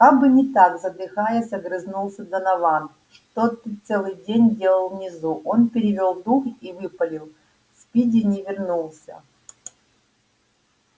как бы не так задыхаясь огрызнулся донован что ты целый день делал внизу он перевёл дух и выпалил спиди не вернулся